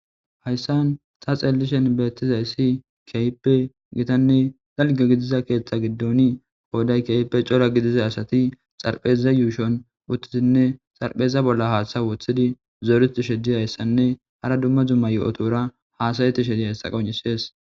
Hayssan sa xeellishen beettiza issi keype gitanne xalgo gidiza keeththa giddoni kooday keype cora gidiza asati xarpheza yuushon wuthtizinne xarpheza bolla haaththa wothidi zooruti shedi hayssanne hara dumma dumma yo'otora haasayeti shedihayssa qonisees.